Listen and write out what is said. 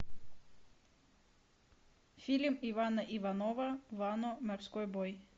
фильм ивана иванова вано морской бой